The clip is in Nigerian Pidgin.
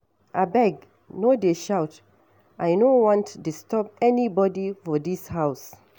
Abeg no dey shout I no want disturb anybody for dis house.